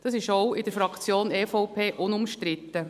Das ist auch in der Fraktion EVP unumstritten.